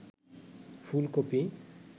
ফুলকপি